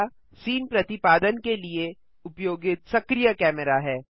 camera scene प्रतिपादन के लिए उपयोगित सक्रीय कैमरा है